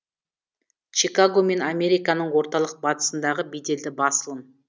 чикаго мен американың орталық батысындағы беделді басылым